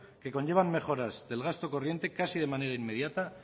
que conlleva mejoras del gasto corriente casi de manera inmediata